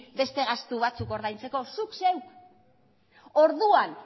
beste gastu ordaintzeko zuk zeuk orduan